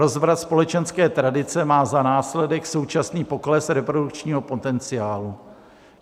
Rozvrat společenské tradice má za následek současný pokles reprodukčního potenciálu.